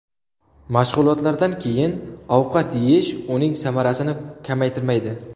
Mashg‘ulotlardan keyin ovqat yeyish uning samarasini kamaytirmaydi.